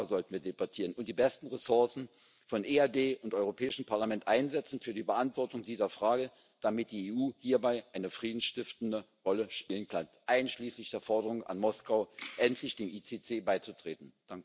Darüber sollten wir debattieren, und die besten Ressourcen von EAD und Europäischem Parlament einsetzen für die Beantwortung dieser Frage, damit die EU hierbei eine friedensstiftende Rolle spielen kann, einschließlich der Forderung an Moskau, endlich dem ICC beizutreten.